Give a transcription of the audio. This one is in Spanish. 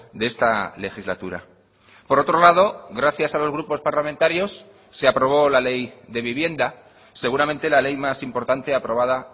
de esta legislatura por otro lado gracias a los grupos parlamentarios se aprobó la ley de vivienda seguramente la ley más importante aprobada